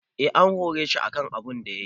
Eh an hore shi akan abunda yayi.